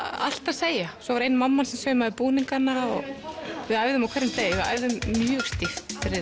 allt að segja svo var ein mamman sem að saumaði búningana og við æfðum á hverjum degi við æfðum mjög stíft fyrir